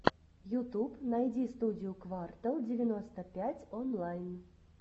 ютуб найди студию квартал девяносто пять онлайн